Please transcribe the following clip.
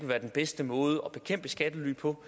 være den bedste måde at bekæmpe skattely på